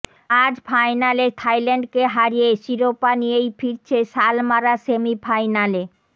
আজ ফাইনালে থাইল্যান্ডকে হারিয়ে শিরোপা নিয়েই ফিরছে সালমারা সেমিফাইনালে